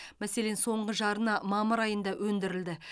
мәселен соңғы жарна мамыр айында өндірілді